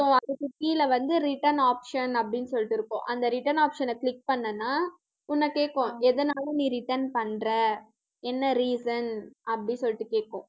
so அதுக்கு கீழே வந்து return option அப்படின்னு சொல்லிட்டு இருக்கும். அந்த return option அ click பண்ணன்னா உன்னை கேக்கும், எதனால நீ return பண்ற, என்ன reason அப்படி சொல்லிட்டு கேக்கும்